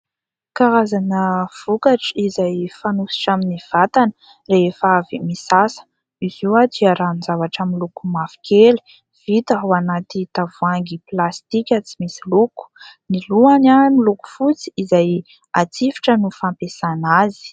Karazana vokatra izay fanosotra amin'ny vatana rehefa avy misasa. Izy io dia ranon-javatra miloko mavokely vita ao anaty tavoahangy plastika tsy misy loko. Ny lohany miloko fotsy izay atsifitra no fampiasana azy.